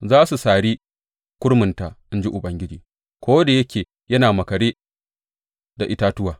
Za su sari kurminta, in ji Ubangiji, ko da yake yana maƙare da itatuwa.